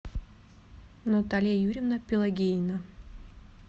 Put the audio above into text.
наталья юрьевна пелагеина